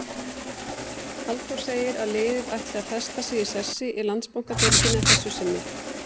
Halldór segir að liðið ætli að festa sig í sessi í Landsbankadeildinni að þessu sinni.